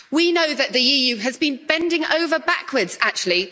We know that the EU has been bending over backwards, actually.